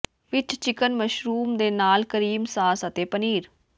ਵਿਚ chicken mushroom ਦੇ ਨਾਲ cream sauce ਅਤੇ ਪਨੀਰ